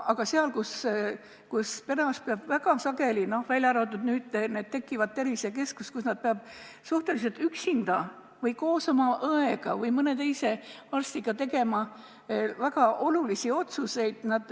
Aga perearst peab väga sageli üksinda – välja arvatud nüüd, kui tekivad tervisekeskused – või koos oma õega või mõne teise arstiga tegema väga olulisi otsuseid.